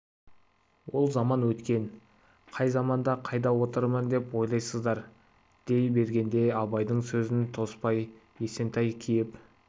ол заман өткен қай заманда қайда отырмын деп ойлайсыңдар дей бергенде абайдың сөзін тоспай есентай киіп